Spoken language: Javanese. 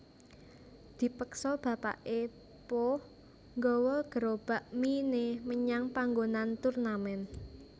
Dipeksa bapaké Po gawa gerobak mie né menyang panggonan turnamen